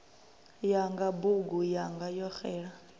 yanga bugu yanga yo xela